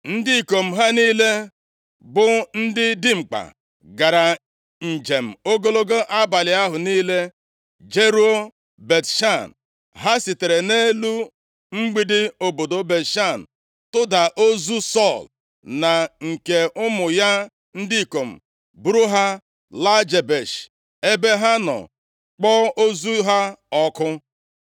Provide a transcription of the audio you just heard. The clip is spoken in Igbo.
ndị ikom ha niile bụ ndị dimkpa, gara njem ogologo abalị ahụ niile jeruo Bet-Shan. Ha sitere nʼelu mgbidi obodo Bet-Shan tọda ozu Sọl na nke ụmụ ya ndị ikom buru ha laa Jebesh ebe ha nọ kpọọ ozu ha ọkụ.